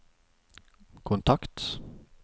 kontakt